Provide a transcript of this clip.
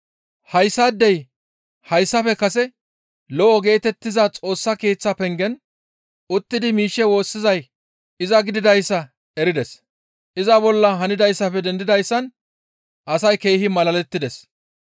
Hayssaadey hayssafe kase, «Lo7o» geetettiza Xoossa Keeththa pengen uttidi miishshe woossizay iza gididayssa erides. Iza bolla hanidayssafe dendidayssan asay keehi malalettides.